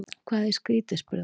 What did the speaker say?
Hvað er skrýtið? spurði hann.